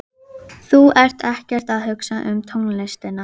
Og vanhugsuðu, eins og átti eftir að koma á daginn.